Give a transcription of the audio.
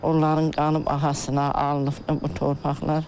Onların qanı bahasına alınıbdır bu torpaqlar.